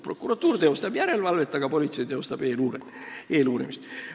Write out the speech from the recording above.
Prokuratuur teostab järelevalvet, aga politsei teostab eeluurimist.